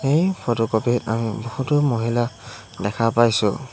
এই ফটোকপি ত আমি বহুতো মহিলা দেখা পাইছোঁ।